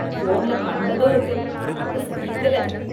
போன்ல கண்டதும் இருக்குது, பார்க்க சகிக்கல.